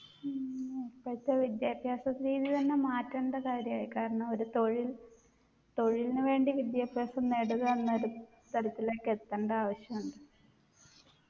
ഉം ഇപ്പോഴത്തെ വിദ്യാഭ്യാസപ്പേര് തന്നെ മാറ്റേണ്ടേ കാര്യായി കാരണം ഒരു തൊഴിൽ തൊഴിൽന് വേണ്ടി വിദ്യാഭ്യാസം നേടുക എന്ന ഒരു തരത്തിലേക്ക് എത്തണ്ട ആവശ്യാണ്